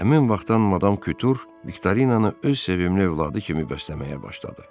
Həmin vaxtdan Madam Kütur Viktorinanı öz sevimli övladı kimi bəsləməyə başladı.